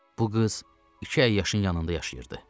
Bu qız iki əyyəşin yanında yaşayırdı.